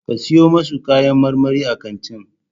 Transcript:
Ka siyo masu kayan marmari a kantin